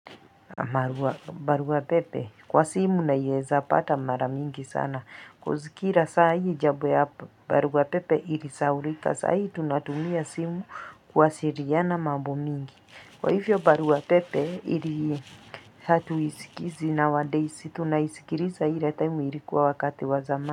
Marua barua pepe kwa simu naieza pata maramingi sana koz kira saa hii jabwe hapa barua pepe ilisaulika saa hii tunatumia simu kuwasiriana mabu mingi kwa hivyo barua pepe ili hatu isikizi now days tunaisikiriza ile time ilikuwa wakati wa zamani.